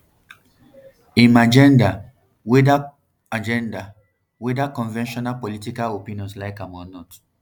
im agenda weda agenda weda conventional political opinions like am or not